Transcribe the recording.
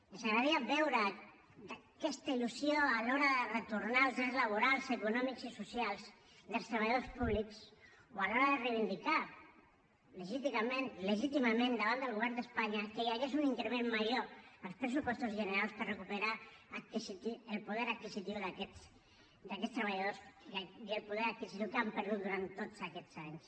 ens agradaria veure aquesta il·lusió a l’hora de retornar els drets laborals econòmics i socials dels treballadors públics o a l’hora de reivindicar legítimament davant del govern d’espanya que hi hagués un increment major en els pressupostos generals per recuperar el poder adquisitiu d’aquests treballadors i el poder adquisitiu que han perdut durant tots aquests anys